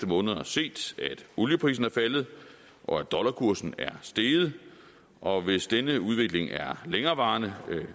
måneder set at olieprisen er faldet og at dollarkursen er steget og hvis denne udvikling er længerevarende vil